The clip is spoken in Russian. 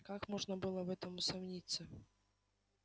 как можно было в этом усомниться